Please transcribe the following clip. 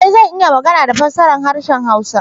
Ee! Zan iya magana da fassara harshen hausa.